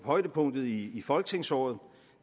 højdepunktet i folketingsåret